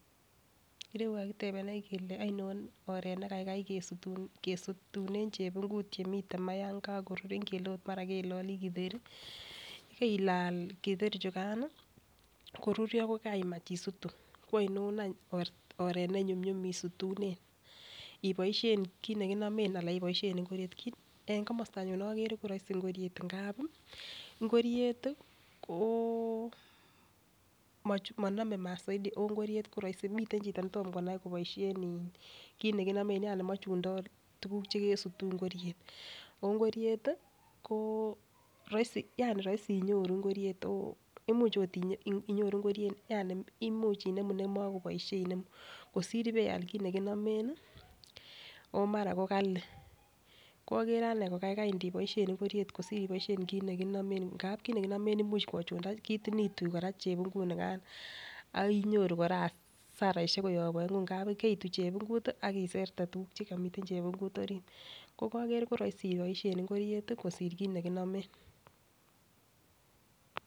Irou ko kakitebenech kelee oinon oret nekaikai kesutune chebungut yemiten maa yon kokoruren, ingele ot mara kelelii kiteri keila kiteri chukani koruryo ko kaimach isutu, kwoino anch oret nenyumnyum isutune iboishen kit nekinomen anan iboishen ingoroik. En komostanyun okere ko roisi ngoriet ngapi ngoriet tii koo monome maat soiti oh ngoriet koroisi miten chito netom konai koboishen in kit nekinomen yani mochundo tukuk chekesutuu ngoriet. Ongoriet tii roisi yani roisi inyoru ngoriet imuch ot inyoru ingoriet yani imuch I enemu nemokoboishe, kosir ibeal kit nekinomen nii omara ko Kali ko okere anee ko kaikai neiboishen ngoriet kosir ndiboishen kit nekinomen ngap kit nekinome imuch kochunda sitikin itui Koraa chebungut nikan akinyoru Koraa asarashek koyob oengu ngap keityi chebungut tii ak iserte tukuk chekomiten chebungut orit. Ko koker ko roisi iboishen ingoriet kosir kit nekinomen.